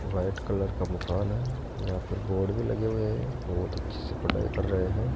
White colour का मकान है। यहां पर बोर्ड भी लगे हुए हैं। बोहोत अच्छे से पढ़ाई कर रे हैं।